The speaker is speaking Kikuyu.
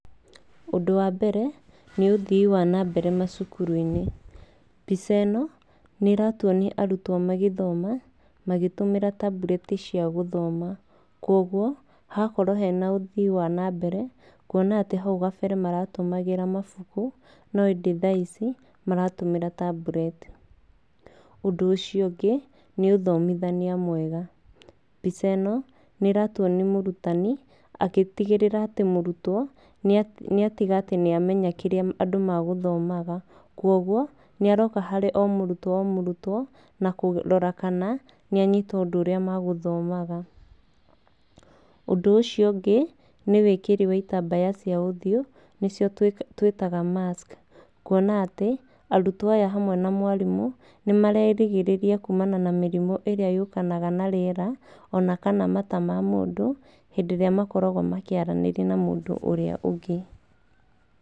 Ũndũ wa mbere nĩ ũthii wa nambere macukuru-inĩ. Mbica ĩno nĩratuonia arutwo magĩthoma magĩtũmĩra tablet cia gũthoma, koguo hagakorwo he na ũthii wa nambere, kuona atĩ hau kabere maratũmagĩra mabuku no ĩndĩ tha ici maratũmĩra tablet. Ũndũ ũcio ũngĩ, nĩ ũthomithania mwega, mbica ĩno nĩĩratuonia mũrutani agĩtigĩrĩra atĩ mũrutwo nĩatiga atĩ nĩamenya kĩrĩa andũ magũthomaga, koguo nĩ aroka harĩ o mũrutwo o mũrutwo na kũrora kana nĩ anyita ũndũ ũrĩa magũthomaga. Ũndũ ũcio ũngĩ, nĩ wĩkĩri wa itambaya ya ũthiũ nĩcio tũĩtaga mask, kuona atĩ arutwo aya hamwe na mwarimũ nĩmarerigĩrĩria kumana na mĩrimũ irĩa yũkanaga na rĩera, ona kana mata ma mũndũ, hĩndĩ ĩrĩa makoragwo makĩaranĩria na mũndũ ũrĩa ũngĩ.